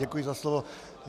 Děkuji za slovo.